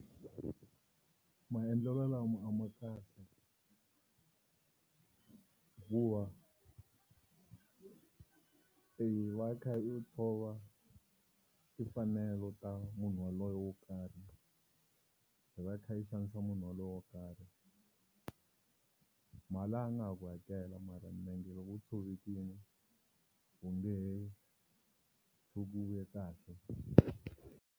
Maendlelo lama a ma kahle hikuva i va i kha i tshova timfanelo ta munhu yaloye wo karhi i va i kha i xanisa munhu wolowo wo karhi mali a nga ha ku hakela mara milenge loko yi tshovekile u nge hr tshuki u ve kahle.